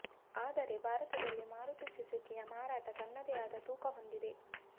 ಆದರೆ ಭಾರತದಲ್ಲಿ ಮಾರುತಿ ಸುಝುಕಿಯ ಮಾರಾಟ ತನ್ನದೇ ಆದ ತೂಕ ಹೊಂದಿದೆ